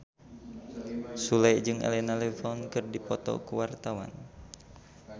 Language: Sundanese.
Sule jeung Elena Levon keur dipoto ku wartawan